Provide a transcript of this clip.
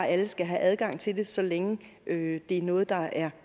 at alle skal have adgang til det så længe det er noget der er